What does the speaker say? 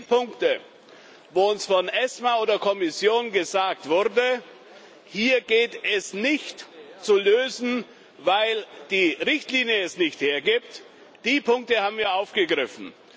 Und die Punkte, wo uns von ESMA oder Kommission gesagt wurde Hier geht es nicht zu lösen, weil die Richtlinie es nicht hergibt, die Punkte haben wir aufgegriffen.